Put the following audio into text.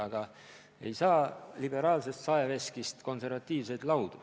Aga ei saa liberaalsest saeveskist konservatiivseid laudu.